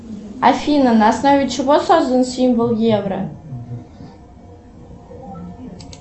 афина на основе чего создан символ евро